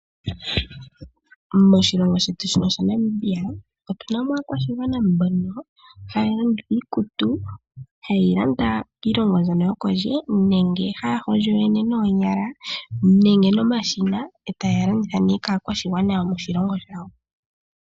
Moshilongo shetu shino shaNamibia otuna mo aakwashigwana mbono haya landitha iikutu, haye yi landa piilongo mbyono yokondje nenge haya hondjo yoyene noonyala nenge nomashina e taya landitha nee kaakwashigwana yomoshilongo shawo.